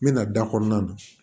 N mɛna da kɔnɔna na